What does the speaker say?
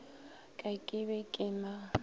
ka ke be ke na